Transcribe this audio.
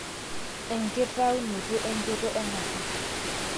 1. enkitaunote enchoto ena toki